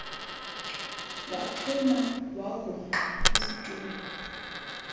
waxhuma wagungqa esitulweni